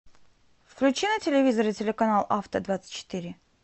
включи на телевизоре телеканал авто двадцать четыре